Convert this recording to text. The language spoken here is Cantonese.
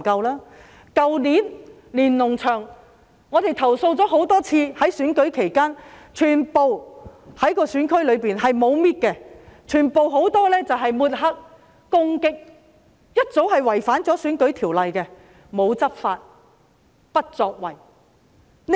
去年，我們多次投訴，在選舉期間，選區內沒有清除連儂牆，牆上有很多抹黑和攻擊的海報，違反《選舉條例》，但政府沒有執法，不作為。